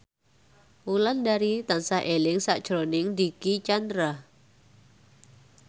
Wulandari tansah eling sakjroning Dicky Chandra